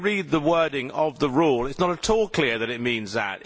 If you read the wording of the rule, it is not at all clear that it means that.